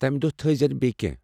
تمہِ دۄہ تھٲزینہٕ بییہِ كینہہ ۔